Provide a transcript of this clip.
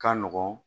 Ka nɔgɔn